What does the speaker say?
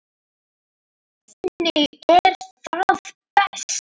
Þannig er það best.